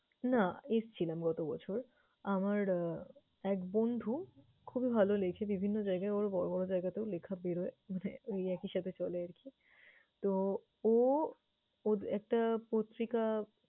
না এসেছিলাম গতবছর। আমার আহ এক বন্ধু খুবই ভালো লেখে, বিভিন্ন জায়গায় ওর বড়ো বড়ো জায়গাতেও লেখা বেরোয়। আহ ওই একই সাথে চলে আরকি। তো ও ওর একটা পত্রিকা